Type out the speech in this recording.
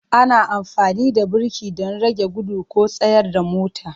Ana amfani da birki don rage gudu ko tsayar da motar.